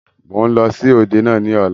Mo ń lọ sí òde náà ni ọ̀la.